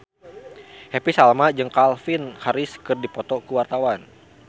Happy Salma jeung Calvin Harris keur dipoto ku wartawan